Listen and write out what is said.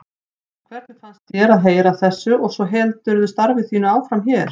Hvernig fannst þér að heyra af þessu og svo heldurðu starfi þínu áfram hér?